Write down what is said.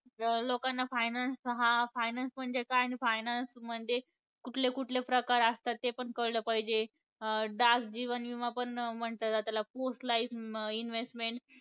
लोकांना finance हा finance म्हणजे काय आणि finance म्हणजे कुठले कुठले प्रकार असतात ते पण कळलं पाहिजे. अं dark जीवन विमा पण म्हणलं जात त्याला post life investment